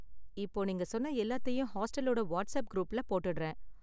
இப்போ நீங்க சொன்ன எல்லாத்தையும் ஹாஸ்டலோட வாட்ஸ்ஆப் குரூப்ல போட்டுடுறேன்.